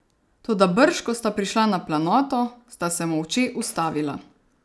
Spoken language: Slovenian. Toda brž ko sta prišla na planoto, sta se molče ustavila.